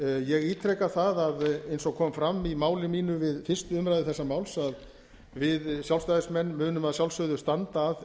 ég ítreka það eins og kom fram í máli mínu við fyrstu umræðu þessa máls að við sjálfstæðismenn munum að sjálfsögðu standa að